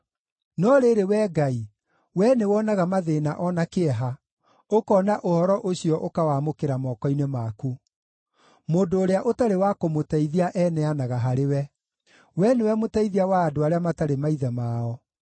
No rĩrĩ, Wee Ngai, Wee nĩwonaga mathĩĩna o na kĩeha, ũkoona ũhoro ũcio ũkawamũkĩra moko-inĩ maku. Mũndũ ũrĩa ũtarĩ wa kũmũteithia eneanaga harĩwe. Wee nĩwe mũteithia wa andũ arĩa matarĩ maithe mao.